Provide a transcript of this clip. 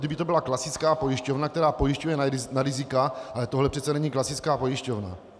Kdyby to byla klasická pojišťovna, která pojišťuje na rizika, ale tohle přece není klasická pojišťovna.